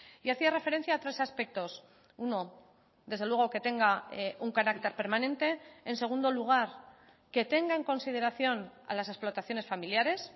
y hacía referencia a tres aspectos uno desde luego que tenga un carácter permanente en segundo lugar que tenga en consideración a las explotaciones familiares